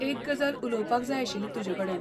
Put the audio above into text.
एक गजाल उलोवपाक जाय आशिल्ली तुजेकडेन.